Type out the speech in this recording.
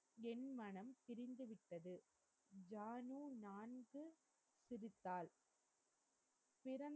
என் மனம் பிரிந்துவிட்டது ஜானு நான்கு சிரித்தாள் பிறந்